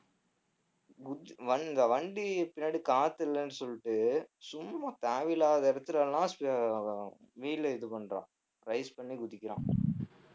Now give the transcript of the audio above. வண்~ இந்த வண்டி பின்னாடி காத்து இல்லைன்னு சொல்லிட்டு சும்மா தேவையில்லாத இடத்துல எல்லாம் சு~ wheel அ இது பண்றான் rise பண்ணி குதிக்கிறான்